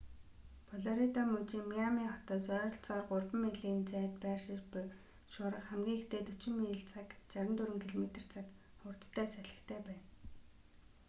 флорида мужийн миами хотоос ойролцоогоор 3,000 милийн зайд байршиж буй шуурга хамгийн ихдээ 40 миль/цаг 64 км/цаг хурдтай салхитай байна